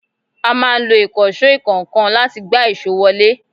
A máa ń lo Ìkànsó ìkọ́ńkan láti gbá èsó wọ ilé